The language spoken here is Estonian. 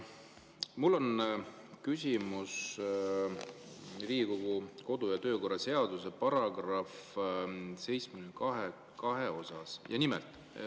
Mul on küsimus Riigikogu kodu- ja töökorra seaduse § 72 kohta.